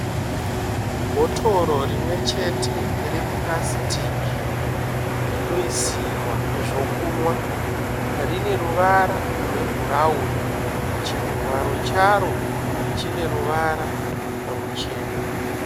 Bhotoro rimwechete repurasitiki rinoisirwa zvokumwa, rine ruvara rwebhurawuni, chivharo charo chine ruvara ruchena.